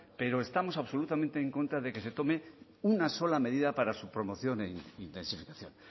pero estamos absolutamente en contra de que se tome una sola medida para su promoción e intensificación